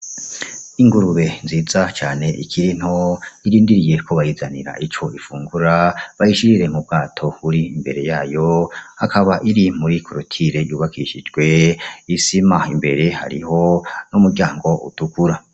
Ingurube nziza cane ikiri nto irindiriye ko bayizanira ico ifungura bayishirire mu bwato buri imbere yayo ikaba iri muri korotire yubakishijwe isima imbere hariho n'muryango utukura.